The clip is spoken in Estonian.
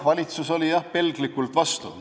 Valitsus oli jah pelglikult vastu.